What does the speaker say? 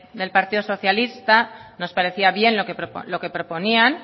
del partido socialista nos parecía bien lo que proponían